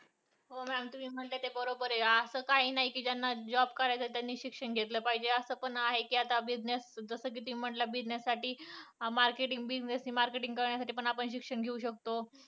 हो ma'am तुम्ही म्हणता ते बरोबर आहे. असं काही नाही ज्यांना job करायचा त्यांनी शिक्षण घेतले पाहिजे. असं पण आहे कि आता business जसं कि तुम्ही म्हंटले business साठी marketing, business marketing साठी पण आपण शिक्षण घेऊ शकतो.